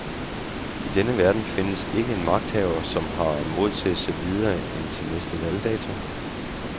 I denne verden findes ikke en magthaver, som har mod til at se videre end til næste valgdato.